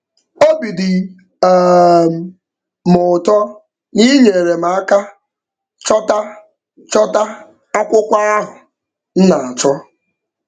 Obi dị um m ụtọ na ị nyeere m aka chọta chọta akwụkwọ ahụ m na-achọ.